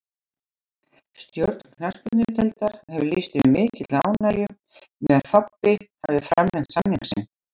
Stjórn knattspyrnudeildar hefur lýst yfir mikilli ánægju með að Þobbi hafi framlengt samning sinn.